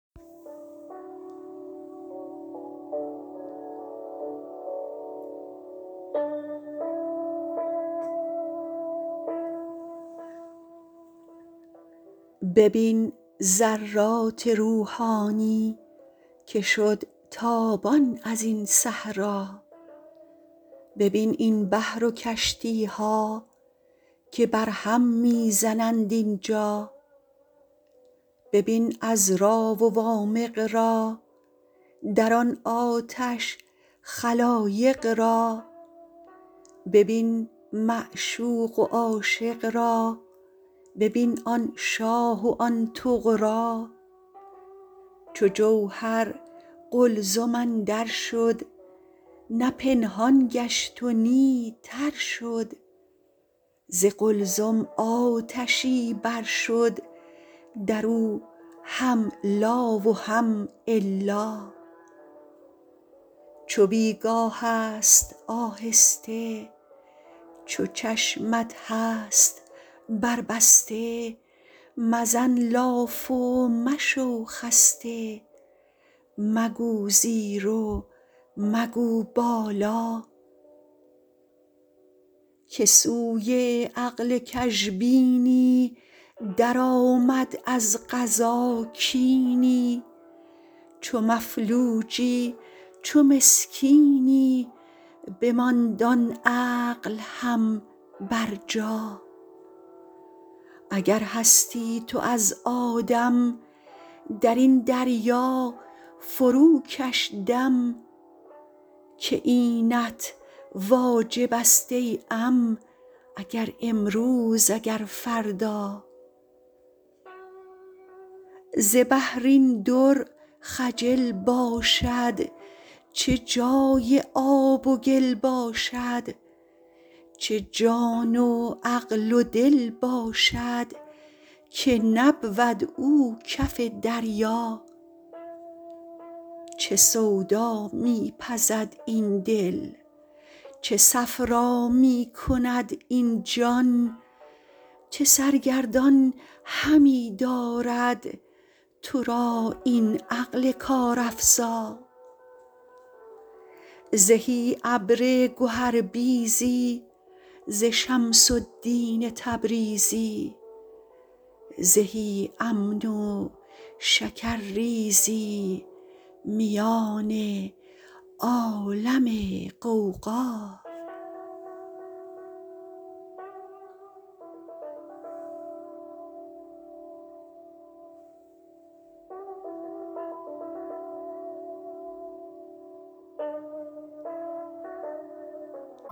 ببین ذرات روحانی که شد تابان از این صحرا ببین این بحر و کشتی ها که بر هم می زنند اینجا ببین عذرا و وامق را در آن آتش خلایق را ببین معشوق و عاشق را ببین آن شاه و آن طغرا چو جوهر قلزم اندر شد نه پنهان گشت و نی تر شد ز قلزم آتشی بر شد در او هم لا و هم الا چو بی گاه ست آهسته چو چشمت هست بربسته مزن لاف و مشو خسته مگو زیر و مگو بالا که سوی عقل کژبینی درآمد از قضا کینی چو مفلوجی چو مسکینی بماند آن عقل هم برجا اگر هستی تو از آدم در این دریا فروکش دم که اینت واجب ست ای عم اگر امروز اگر فردا ز بحر این در خجل باشد چه جای آب و گل باشد چه جان و عقل و دل باشد که نبود او کف دریا چه سودا می پزد این دل چه صفرا می کند این جان چه سرگردان همی دارد تو را این عقل کارافزا زهی ابر گهربیزی ز شمس الدین تبریزی زهی امن و شکرریزی میان عالم غوغا